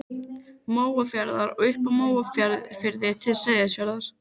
Og yfir öllu gnæfði altaristafla Ögmundar.